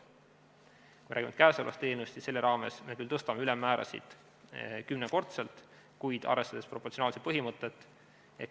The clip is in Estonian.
Kui me räägime käesolevast eelnõust, siis selle raames me küll tõstame ülemmäärasid kümnekordselt, kuid arvestades proportsionaalsuse põhimõtet.